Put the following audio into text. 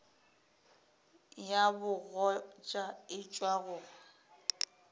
ya bogoja e tšwa go